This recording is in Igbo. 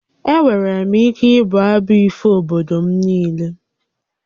Enwere m ike ịbụ abụ ifo obodo m niile